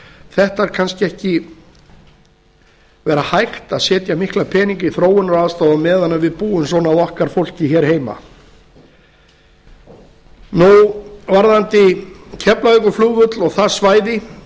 þetta kannski ekki vera hægt að setja mikla peninga í þróunaraðstoð á meðan við búum svona að okkar fólki hér heima varðandi keflavíkurflugvöll og það svæði